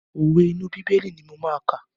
Òwe inú bíbélì ni mo máa kà.